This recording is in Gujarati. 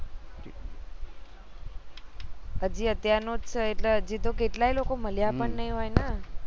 હજી અત્યાર નું છે એટલે હજી તો કેટલાય લોકો મળ્યા પણ ની હોઈ ને